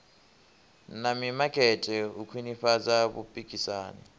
na mimakete u khwinifhadza vhupikisani